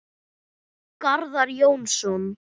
Garðar Jónsson